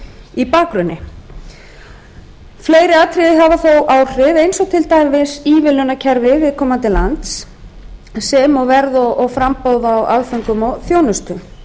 í bakgrunni fleiri atriði hafa þó áhrif eins og til dæmis ívilnanakerfi viðkomandi lands og sem og verð og framboð á aðföngum og þjónustu